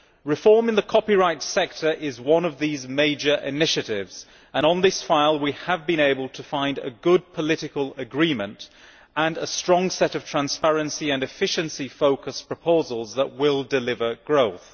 Reform in the copyright sector is one of these major initiatives, and on this file we have been able to find a good political agreement and a strong set of transparency and efficiency focused proposals which will deliver growth.